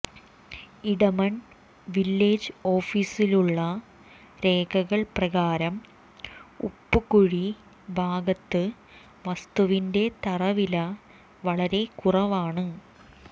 Edamon village ഓഫീസിലുള്ള രേഖകൾ പ്രകാരം ഉപ്പുകുഴി ഭാഗത്ത് വസ്തുവിൻെറ തറവില വളരെ കുറവാണ്